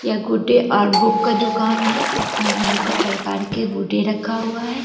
यह गुड्डे और बुक का दुकान है इसमे अनेकों प्रकार के गुड्डे रखा हुआ है।